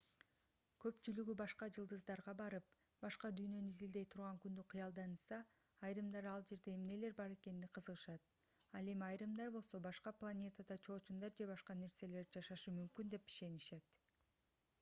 көпчүлүгү башка жылдыздарга барып башка дүйнөнү изилдей турган күндү кыялданышса айрымдары ал жерде эмнелер бар экенине кызыгышат ал эми айрымдар болсо башка планетада чоочундар же башка нерселер жашашы мүмкүн деп ишенишет